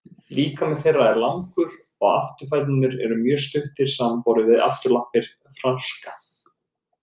Líkami þeirra er langur og afturfæturnir eru mjög stuttir samanborið við afturlappir froska.